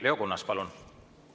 Leo Kunnas, palun!